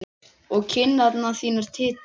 Og kinnar þínar titra.